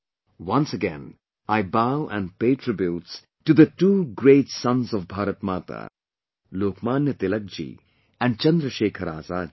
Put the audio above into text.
Once again, I bow and pay tributes to the two great sons of Bharat Mata Lokmanya Tilakji and Chandrasekhar Azad ji